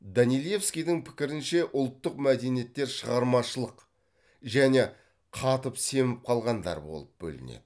данилевскийдің пікірінше ұлттық мәдениеттер шығармашылық және қатып семіп қалғандар болып бөлінеді